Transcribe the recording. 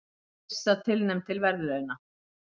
Yrsa tilnefnd til verðlauna